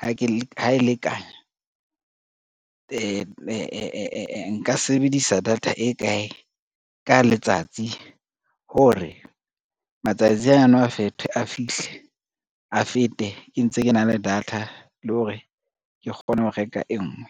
ha e le kana nka sebedisa data e kae ka letsatsi, hore matsatsi ana a thirty a fihle a fete k ntse ke na le data le hore ke kgone ho reka e ngwe.